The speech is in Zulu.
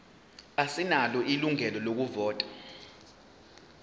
asinalo ilungelo lokuvota